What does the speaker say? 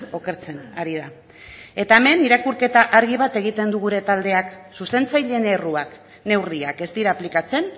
okertzen ari da eta hemen irakurketa argi bat egiten du gure taldeak zuzentzaileen erruak neurriak ez dira aplikatzen